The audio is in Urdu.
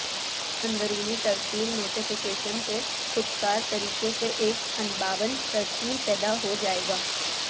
اندرونی ترسیل نوٹیفکیشن سے خود کار طریقے سے ایک انباون ترسیل پیدا ہو جائے گا